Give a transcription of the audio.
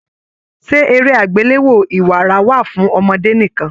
Ṣe eré agbelewo ìwárà wà fún ọmọdé nìkan?